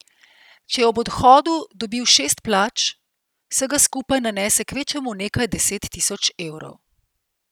Če je ob odhodu dobil šest plač, vsega skupaj nanese kvečjemu nekaj deset tisoč evrov.